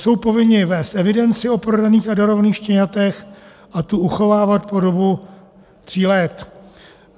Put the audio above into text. Jsou povinni vést evidenci o prodaných a darovaných štěňatech a tu uchovávat po dobu tří let.